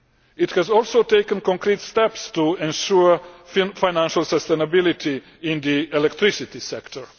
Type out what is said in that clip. It has also taken concrete steps to ensure financial sustainability in the electricity sector.